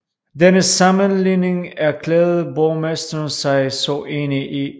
Denne sammenligning erklærede borgmesteren sig så enig i